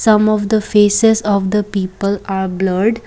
some of the faces of the people are blurred.